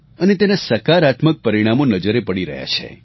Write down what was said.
અને તેના સકારાત્મક પરિણામો નજરે પડી રહ્યા છે